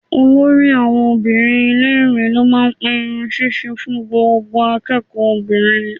Olórí àwọn obìnrin ilé-ìwé ló máa ń pe irun ṣíṣe fún gbogbo akẹ́kọ̀ọ́ obìnrin.